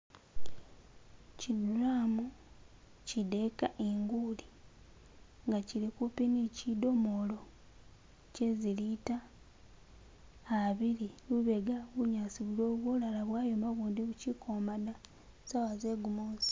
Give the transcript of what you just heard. Chi drum chi deeka inguuli nga chili kumpi ne chi domoolo che zi litre abiili lubega bunyaasi buliwo bulala bwayoma ubundi buchili kwoma da, saawa ze gumuusi.